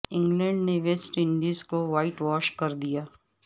England نے West Indies کو whitewash کر دیا